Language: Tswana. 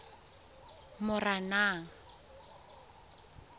moranang